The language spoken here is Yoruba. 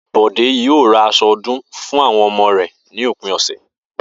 Bò̩dé yóò ra as̩o̩ o̩dún fún àwo̩n o̩mo̩ rè̩ ní òpin ò̩sè̩